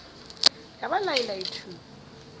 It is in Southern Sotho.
ya ba lai lai thu